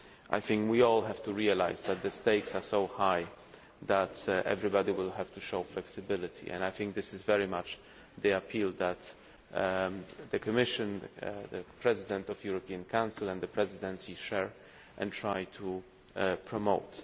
I think we all have to realise that the stakes are so high that everybody will have to show flexibility and I think this is very much the appeal that the Commission, the President of the European Council and the Presidency share and try to promote.